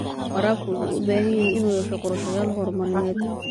Waraabka wuxuu u baahan yahay inuu yeesho qorshayaal horumarineed.